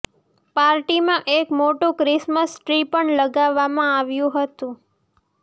પાર્ટીમાં એક મોટું ક્રિસમસ ટ્રી પણ લગાવવામાં આવ્યું હતું